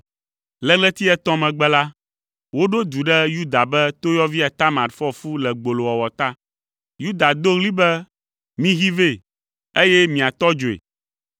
Le ɣleti etɔ̃ megbe la, woɖo du ɖe Yuda be toyɔvia Tamar fɔ fu le gbolowɔwɔ ta. Yuda do ɣli be, “Mihee vɛ, eye miatɔ dzoe!”